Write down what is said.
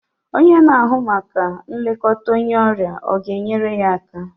Onye na-ahụ maka nlekọta onye ọrịa ọ ga-enyere ya aka?